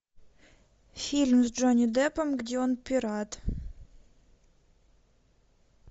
фильм с джонни деппом где он пират